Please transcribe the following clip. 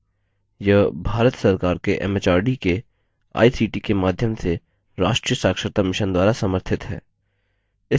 यह भारत सरकार के एमएचआरडी के आईसीटी के माध्यम से राष्ट्रीय साक्षरता mission द्वारा समर्थित है